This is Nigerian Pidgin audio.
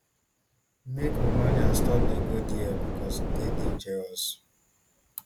make romanians stop dey go there becos e dey dangerous